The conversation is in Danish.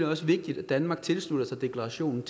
også vigtigt at danmark tilslutter sig deklarationen